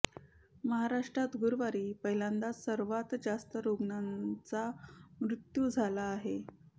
महाराष्ट्रात गुरुवारी पहिल्यांदाच सर्वांत जास्त रुग्णांचा मृत्यू झाला आहे